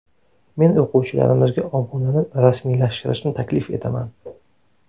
Men o‘quvchilarimizga obunani rasmiylashtirishni taklif etaman.